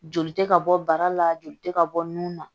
Joli tɛ ka bɔ bara la joli tɛ ka bɔ nun na